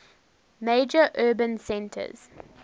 major urban centers